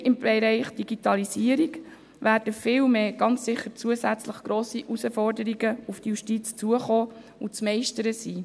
Nein, im Bereich Digitalisierung werden ganz sicher noch viele zusätzliche grosse Herausforderungen auf die Justiz zukommen und zu meistern sein.